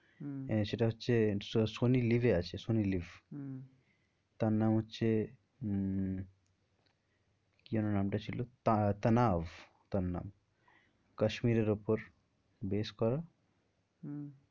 উম